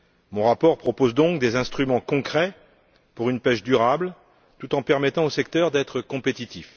Mon rapport propose donc des instruments concrets pour une pêche durable, tout en permettant au secteur d'être compétitif.